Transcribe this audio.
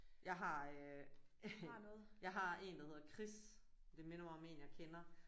Jeg har øh jeg har en der hedder Chris. Det minder mig om en jeg kender